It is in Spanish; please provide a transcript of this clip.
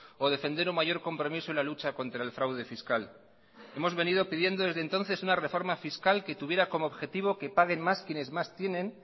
o defender un mayor compromiso en la lucha contra el fraude fiscal hemos venido pidiendo desde entonces una reforma fiscal que tuviera como objetivo que paguen más quienes más tienen